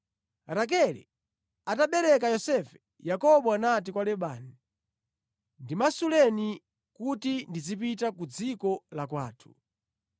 Rakele atabereka Yosefe, Yakobo anati kwa Labani, “Ndimasuleni kuti ndizipita ku dziko la kwathu.